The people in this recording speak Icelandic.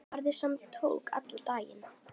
Ferð sem tók allan daginn.